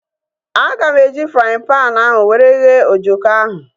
Aga m eji fraaịn panu ahu were ghee ojoko ahu